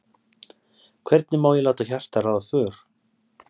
hvenær má ég láta hjartað ráða för